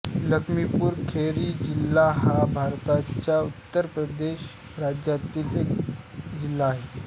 लखीमपूर खेरी जिल्हा हा भारताच्या उत्तर प्रदेश राज्यातील एक जिल्हा आहे